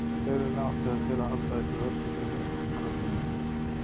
Helena átti það til að halda uppi vörnum fyrir mig gegn krökkunum í bekknum.